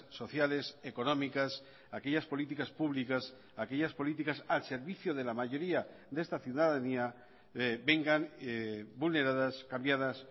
sociales económicas aquellas políticas públicas aquellas políticas al servicio de la mayoría de esta ciudadanía vengan vulneradas cambiadas